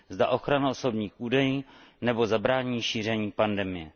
Zda ochrana osobních údajů, nebo zabránění šíření pandemie.